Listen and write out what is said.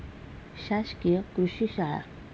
शासकीय कृषी शाळा